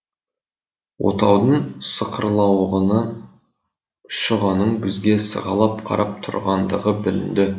отаудың сықырлауығынан шұғаның бізге сығалап қарап тұрғандығы білінді